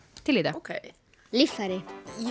til í þetta ókei líffæri